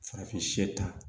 Farafin ta